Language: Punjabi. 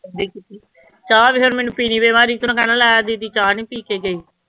ਚਾਹ ਤੇ ਫਿਰ ਮੈਨੂੰ ਪੀਣ ਤੇ ਮੈਂ ਕਹਿਣਾ ਲੈ ਦੀਦੀ ਚਾਹ ਨੀ ਪੀ ਕੇ ਗਈ।